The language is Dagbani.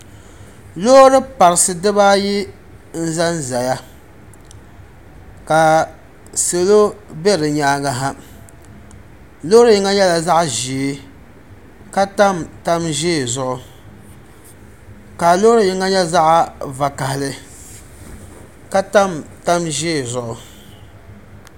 loori parisi dibaa ayi n-za zaya ka salo. be di nyaaga ha loori yinga nyɛla zaɣ' ʒee ka tam tan' ʒee zuɣu ka loori yinga nyɛ vakahali ka tam tan' ʒee zuɣu.